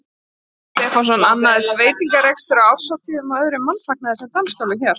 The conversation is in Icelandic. Ragnar Stefánsson, annaðist veitingarekstur á árshátíðum og öðrum mannfagnaði sem dansskólinn hélt.